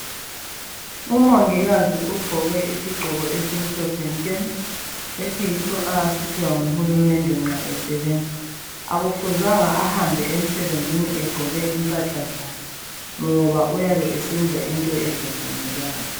Umongikazi ugqoke isigqoko esimhlophe nke esiyiso asiphiwa nguhulumende akufuzange ahambe emsebenzini egqoke impahla zakhe ngoba uyabe esenza okungavunyezwayo.